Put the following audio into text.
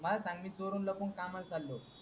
काय सांगेल चोरून लपून कामाला चाललोय.